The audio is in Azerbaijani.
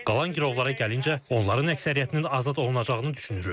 Qalan girovlara gəlincə, onların əksəriyyətinin azad olunacağını düşünürük.